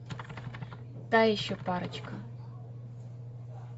та еще парочка